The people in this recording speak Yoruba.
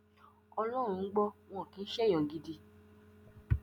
ọlọrun ń gbọ wọn kì í ṣe èèyàn gidi